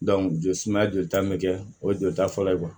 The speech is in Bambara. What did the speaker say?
joli sumaya jolita bɛ kɛ o ye jolita fɔlɔ ye